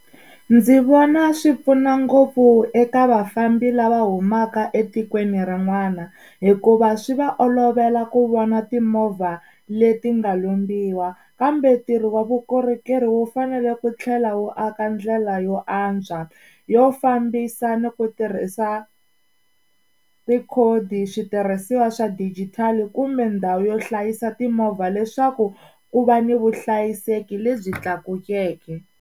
Ndzi vona swi pfuna ngopfu eka vafambi lava humaka etikweni rin'wana hikuva swi va olovela ku vona timovha leti nga lombiwa kambe ntirho wa vukorhokeri wu fanele ku tlhela wu aka ndlela yo antswa yo fambisa ni ku tirhisa tikhodi switirhisiwa swa dijitali kumbe ndhawu yo hlayisa timovha leswaku ku va ni vuhlayiseki lebyi tlakukeke.